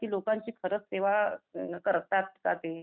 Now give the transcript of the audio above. की लोकांची खरंच सेवा करतात कां ते?